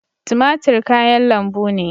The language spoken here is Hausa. Tumatur kayan lambu ne.